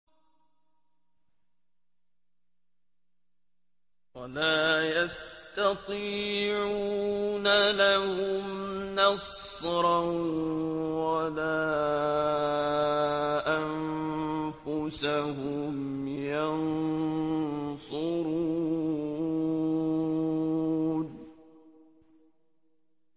وَلَا يَسْتَطِيعُونَ لَهُمْ نَصْرًا وَلَا أَنفُسَهُمْ يَنصُرُونَ